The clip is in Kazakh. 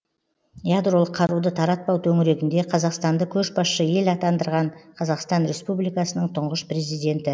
ядролық қаруды таратпау төңірегінде қазақстанды көшбасшы ел атандырған қазақстан республикасының тұңғыш президенті